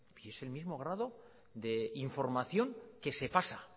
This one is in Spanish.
y es el mismo grado de información que se pasa